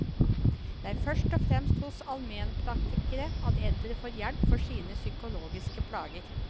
Det er først og fremst hos almenpraktikere at eldre får hjelp for sine psykologiske plager.